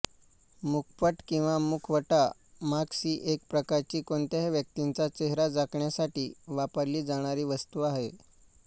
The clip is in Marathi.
मुखपट किंवा मुखवटा मास्क ही एक प्रकारची कोणत्याही व्यक्तीचा चेहरा झाकण्यासाठी वापरली जाणारी वस्तू आहे